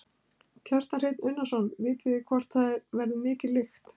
Kjartan Hreinn Unnarsson: Vitið þið hvort að það verður mikil lykt?